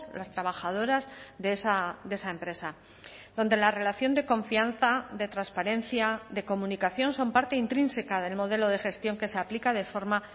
las trabajadoras de esa empresa donde la relación de confianza de transparencia de comunicación son parte intrínseca del modelo de gestión que se aplica de forma